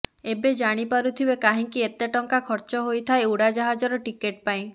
ଏବେ ଜାଣି ପାରୁଥିବେ କାହିଁକି ଏତେ ଟଙ୍କା ଖର୍ଚ୍ଚ ହୋଇଥାଏ ଉଡାଜାହଜର ଟିକେଟ୍ ପାଇଁ